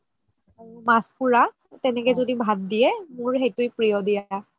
মাছ পুৰা তেনেকে য্দি ভাত দিয়ে মোৰ সেইটোয়ে প্ৰিয় দিয়া